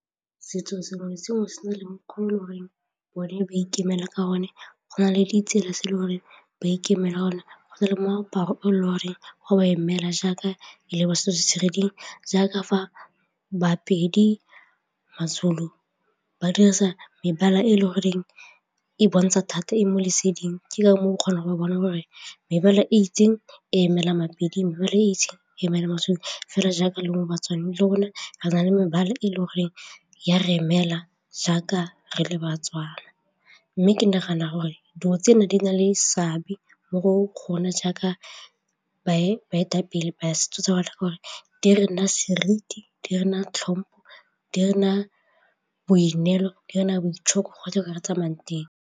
Setso sengwe le sengwe se na le mokgwa o e le goreng bone ba ikemela ka one, go na le ditsela se le gore ba ikemelela gone go na le moaparo o le gore ga ba emela jaaka ele ba seo se jaaka fa ba-Pedi, ma-Zulu ba dirisa mebala e le goreng e bontsha thata e mo leseding ke ka moo o kgona go bona gore mebala e itseng emela mabedi mebala e itseng fela jaaka le le rona re na le mebala e le goreng ya re emela jaaka re le ba-Tswana. Mme ke nagana gore dilo tsena di na le seabe mo go kgona jaaka baetapele ba setso rena seriti, di rena tlhompho, di nna boineelo, di nna boitshoko go tlhokega mo tsamayang teng.